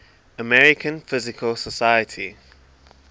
american physical society